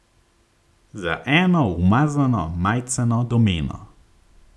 Za eno umazano majceno domeno.